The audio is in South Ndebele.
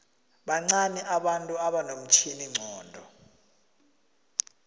bancani abantu abanomtjhiningcondo